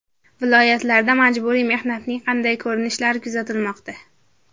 Viloyatlarda majburiy mehnatning qanday ko‘rinishlari kuzatilmoqda?.